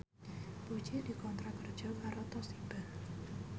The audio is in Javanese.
Puji dikontrak kerja karo Toshiba